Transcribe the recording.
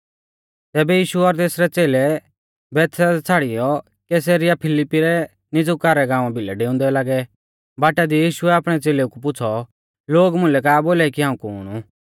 तैबै यीशु और तेसरै च़ेलै बैतसैदा छ़ाड़ियौ कैसरिया फिलिप्पी रै नीज़ुका रै गाँवा भिलै डेउंदै लागै बाटा दी यीशुऐ आपणै च़ेलेऊ कु पुछ़ौ लोग मुलै का बोलाई कि हाऊं कुण ऊ